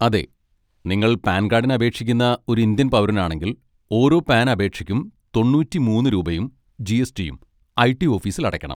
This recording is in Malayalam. അതെ, നിങ്ങൾ പാൻ കാഡിന് അപേക്ഷിക്കുന്ന ഒരു ഇന്ത്യൻ പൗരനാണെങ്കിൽ ഓരോ പാൻ അപേക്ഷയ്ക്കും തൊണ്ണൂറ്റി മൂന്ന് രൂപയും ജി. എസ്.റ്റിയും ഐ.റ്റി ഓഫീസിൽ അടയ്ക്കണം.